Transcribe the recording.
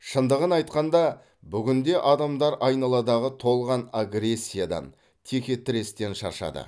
шындығын айтқанда бүгінде адамдар айналадағы толған агрессиядан теке тірестен шаршады